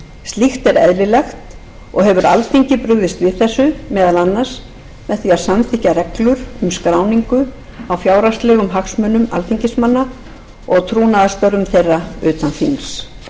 slíkt er eðlilegt og hefur alþingi brugðist við þessu meðal annars með því að samþykkja reglur um skráningu á fjárhagslegum hagsmunum alþingismanna og trúnaðarstörfum þeirra utan þings sérfræðinganefnd starfar á vegum